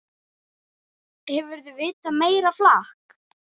Hefurðu vitað meira flak!